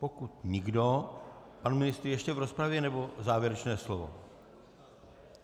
Pokud nikdo - pan ministr ještě v rozpravě, nebo závěrečné slovo?